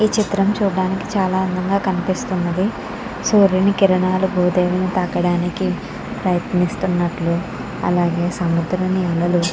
ఈ చిత్రం చూడ్డానికి చాలా అందంగా కనిపిస్తున్నది సూర్యుని కిరణాలు భూదేవిని తాకాడానికి ప్రయత్నిస్తున్నట్లు అలాగే సముద్రం నీడలు.